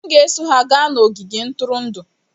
M ga-eso ha gaa n'ogige ntụrụndụ.